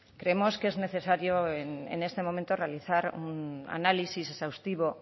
creemos que es necesario en este momento realizar un análisis exhaustivo